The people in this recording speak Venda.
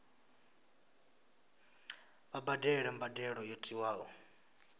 vha badele mbadelo yo tiwaho